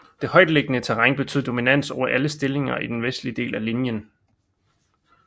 Det højtliggende terræn betød dominans over alle stillinger i den vestlige del af linjen